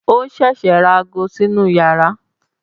Ó ṣẹ̀ṣẹ̀ ra ago sínú yàrá